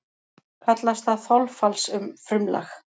Kallast það þolfallsfrumlag.